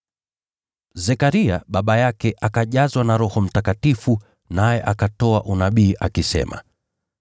Zekaria, baba yake, akajazwa na Roho Mtakatifu, naye akatoa unabii, akisema: